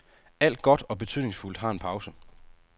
Alt godt og betydningsfuldt har en pause.